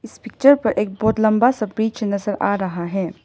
इस पिक्चर पर एक बहुत लंबा सा ब्रिज नजर आ रहा है।